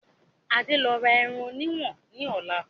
Adé ń lọ ra ẹran òní ìwọ̀n ni ọjà lọ́la